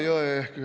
Kolm minutit.